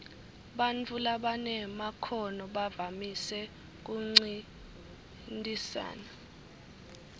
bantfu labanemakhono bavamise kuncintisana